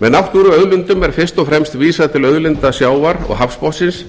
með náttúruauðlindum er fyrst og fremst vísað til auðlinda sjávar og hafsbotnsins